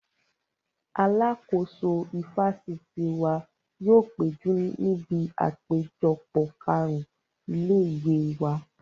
Alàkóso ifásitì wa yóò péjú níbi àpéjọpọ̀ kàrún ilé-ìwé wa